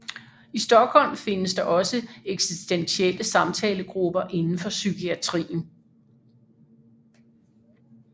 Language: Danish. I Stockholm findes der også eksistentielle samtalegrupper inden for psykiatrien